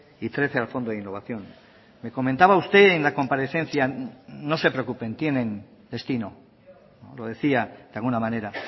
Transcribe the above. y trece al fondo de innovación me comentaba usted en la comparecencia no se preocupen tienen destino lo decía de alguna manera